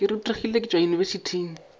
ke rutegile ke tšwa yunibesithing